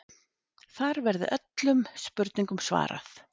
Þar verði öllum spurningum svarað